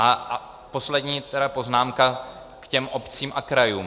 A poslední poznámka k těm obcím a krajům.